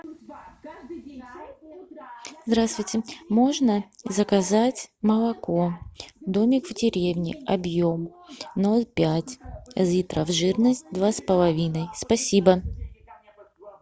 здравствуйте можно заказать молоко домик в деревне объем ноль пять литров жирность два с половиной спасибо